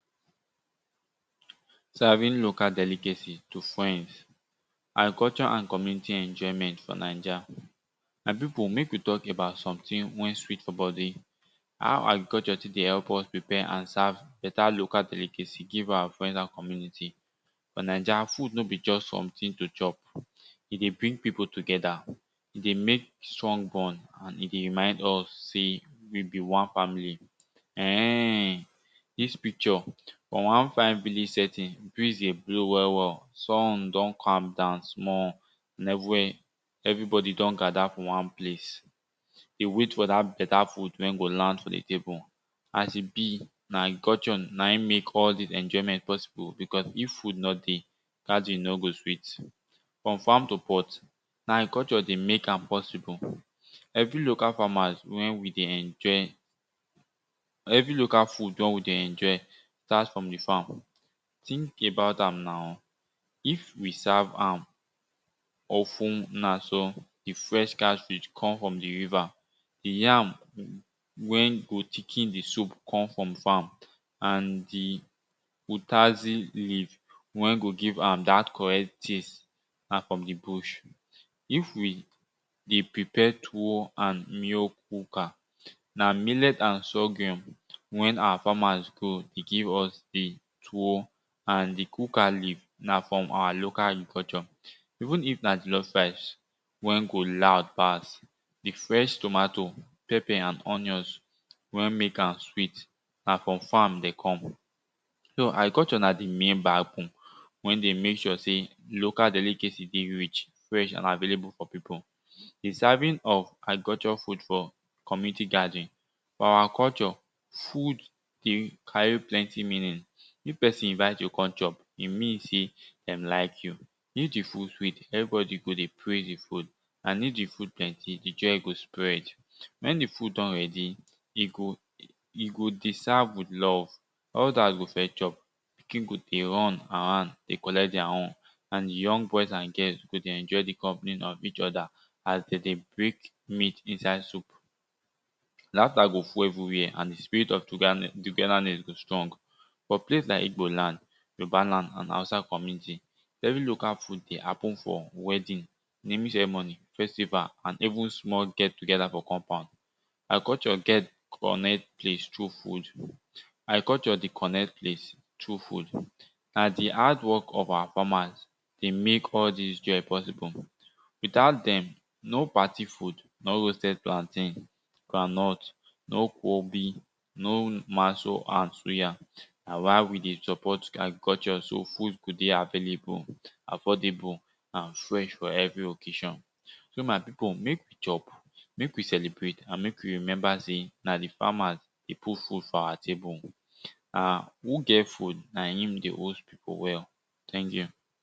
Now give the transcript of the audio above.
Serving local delicacy to friends and culture and community enjoyment for naija. My pipu mek we talk about something wey sweet for bodi how agriculture still dey help prepare and serve beta local delicacy give our friends and community. For naija food no just something to chop e dey bring pipu together e dey make strong bond and e de remind all sey we be one family. Um dis picture wan fine village setting breeze the blow well well sun don calm down small and everybody don gather for wan place dey wait for dat beta food wen go land for the table. As e be na agriculture na in mek all dis enjoyment possible because if food no dey, gathering no go sweet. From farm to pot na agriculture dey mek am possible. Every local farmers wen we dey enjoy every local food wer we de enjoy start from di farm. Think about am na? if we serve am some of una some di fresh catfish come from di river, di yam wen go chicken di soup come from farm and di otazi leave wen go give am dat correct taste na from di bush. If we dey prepare tuwo and mill cooker na millet and sougour wen awa farmers grow give us di tuwo and di kuka leave na from awa local agriculture. Even if na jollof rice wer go loud pass, di fresh tomato pepper and onions wen mek am sweet na from farm dem come. Agriculture na di member wen de mek sure sey local delicacy dey rich fresh and available for people. The serving of agriculture food for community gathering. Our culture. food dey carry plenty meaning, if pesin invite you come chop, e mean sey dem like you. If di food sweet, everybody go dey praise you and if di food plenty, di joy go spread. Wen di food don ready, e go e go dey serve with love others go first chop pikin go dey run around dey collect their own and di young boys and girls dey enjoy di company of eachother as de dey break meat inside soup. Laughter go full everywhere and di spirit of togetherness go strong. For place like igbo land, yoruba land and hausa community every local food dey happen for wedding naming ceremony festival and even small get together for compound. Agriculture get connect things through food agriculture dey connect place through food na di hard work of our farmers de mek all dis joy possible. Without dem, no party food, no roasted plantain, groundnut, no kwombi no maso and suya na why we dey support agriculture so food go dey available, affordable and fresh for every occasion. So my pipu mek we chop, mek we celebrate and mek we remember sey na d farmers dey put food for our table. Na who get food na im dey host pipu well thank you.